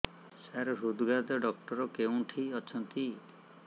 ସାର ହୃଦଘାତ ଡକ୍ଟର କେଉଁଠି ଅଛନ୍ତି